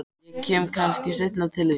Ég kem kannski seinna til þín.